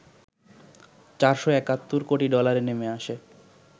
৪৭১ কোটি ডলারে নেমে আসে